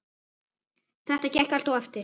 Þetta gekk allt eftir.